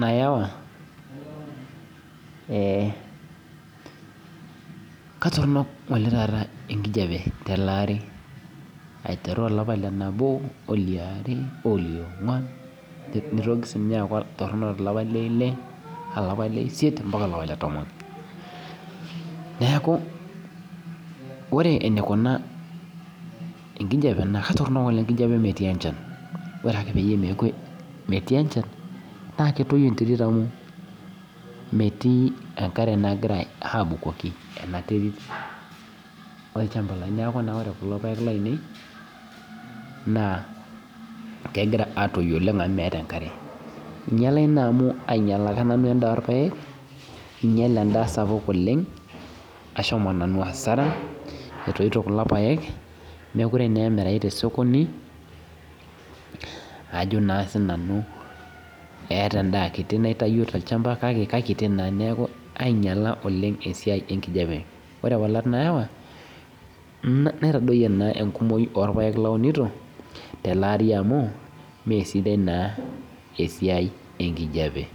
nayau ketoronok enkijiape telee aari aitetu olapa liebo ombaka olapa le topon neeku ore eneikuna enkijiape atotonok enkijiape metii enchan amu ore metii enchan naa ketotu enkop neeku ore kulo paek lainei kegira aatoyu oleng amu meeta ekare einyiale endaa sapuk oleng etoito kulo paek meekure naa emirayu tesokoni ajo naa sii nanu etaa endaa kiti naitayio tochamba kake ainyiala esiai enkijiape ore ewalat naawa naitadoyie naa enkumoi orpaek launito amu meesidai naaa esiai enkijiape